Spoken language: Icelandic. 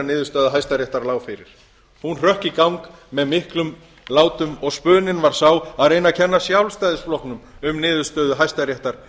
niðurstaða hæstaréttar lá fyrir hún hrökk í gang með miklum látum og spuninn var sá að reyna að kenna sjálfstæðisflokknum um niðurstöðu hæstaréttar